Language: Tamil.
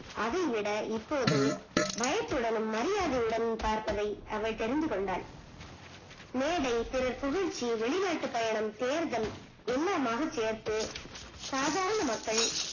அதை விட இப்போது பயத்துடனும் மரியாதையுடனும் பார்பதை அவள் தெரிந்து கொண்டால் மேடை திருபுகழ்ச்சி வெளிநாட்டு பயணம் தேர்தல் எல்லாம்மாக சேர்த்து சாதாரண மக்கள்